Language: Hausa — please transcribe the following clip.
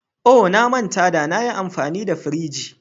Oh! Na manta da na yi amfani da firij.